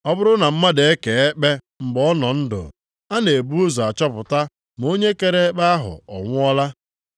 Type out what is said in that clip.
Ọ bụrụ na mmadụ ekee ekpe mgbe ọ nọ ndụ, a na-ebu ụzọ achọpụta ma onye kere ekpe ahụ ọ nwụọla.